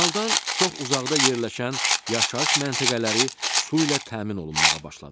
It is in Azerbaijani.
Kanaldan çox uzaqda yerləşən yaşayış məntəqələri su ilə təmin olunmağa başladı.